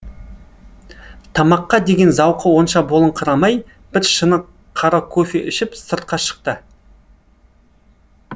тамаққа деген зауқы онша болыңқырамай бір шыны қара кофе ішіп сыртқа шықты